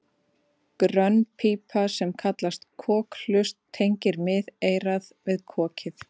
Grönn pípa sem kallast kokhlust tengir miðeyrað við kokið.